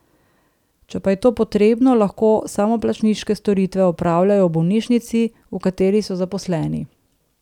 Če pa je to potrebno, lahko samoplačniške storitve opravljajo v bolnišnici, v kateri so zaposleni.